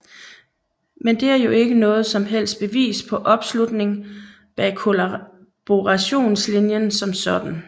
Men det er jo ikke noget som helst bevis på opslutning bag kollaborationslinjen som sådan